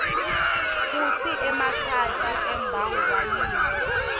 kutsi emakhata abangwa yini